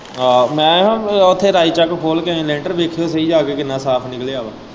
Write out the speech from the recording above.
ਆਹੋ ਮੈਂ ਨਾ ਉੱਥੇ ਰਾਈਚੱਕ ਖੋਲ ਕੇ ਆਏ ਲੈਂਟਰ ਵੇਖਿਓ ਸਹੀ ਜਾ ਕੇ ਕਿੰਨਾ ਸਾਫ਼ ਨਿਕਲ਼ਿਆ ਵਾ।